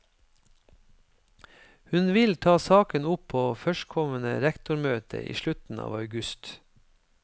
Hun vil ta saken opp på førstkommende rektormøte i slutten av august.